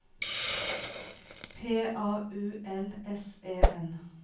P A U L S E N